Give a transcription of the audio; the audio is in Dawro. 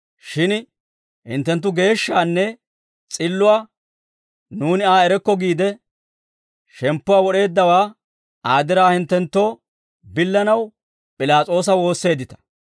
Shin hinttenttu geeshshaanne s'illuwaa, ‹Nuuni Aa erokko› giide, shemppuwaa wod'eeddawaa Aa diraa hinttenttoo billanaw P'ilaas'oosa woosseeddita.